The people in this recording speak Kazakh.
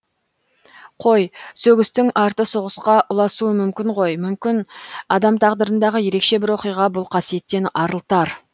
қой сөгістің арты соғысқа ұласуы мүмкін ғой мүмкін адам тағдырындағы ерекше бір оқиға бұл қасиеттен арылтар